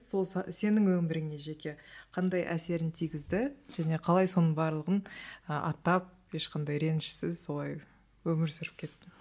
сол сенің өміріңе жеке қандай әсерін тигізді және қалай соның барлығын і аттап ешқандай ренішсіз солай өмір сүріп кеттің